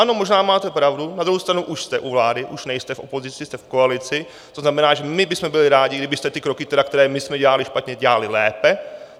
Ano, možná máte pravdu, na druhou stranu už jste u vlády, už nejste v opozici, jste v koalici, to znamená, že my bychom byli rádi, kdybyste ty kroky, které my jsme dělali špatně, dělali lépe.